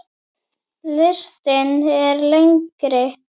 Listinn er lengri.